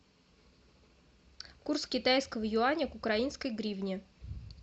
курс китайского юаня к украинской гривне